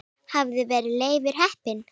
Hvaðan var Leifur heppni?